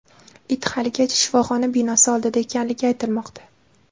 It haligacha shifoxona binosi oldida ekanligi aytilmoqda.